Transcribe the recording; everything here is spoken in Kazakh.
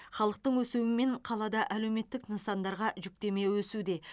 халықтың өсуімен қалада әлеуметтік нысандарға жүктеме өсуде